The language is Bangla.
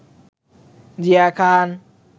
জিয়া খান